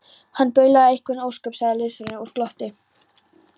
Hann baulaði einhver ósköp, sagði liðsforinginn og glotti.